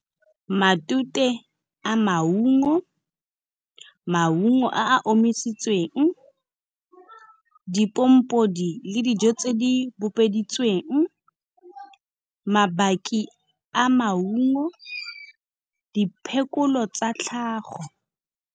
Matute a maungo, maungo a a omisitsweng, dipompodi le dijo tse di bopeditseweng, mabaki a maungo, diphekolo tsa tlhago.